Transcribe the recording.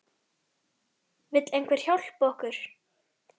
Vill einhver hjálpa okkur?